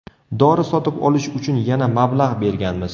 Dori sotib olish uchun yana mablag‘ berganmiz.